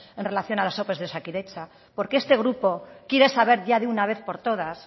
en relación a las ope de osakidetza porque este grupo quiere saber ya de una vez por todas